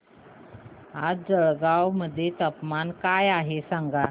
आज जळगाव मध्ये तापमान काय आहे सांगा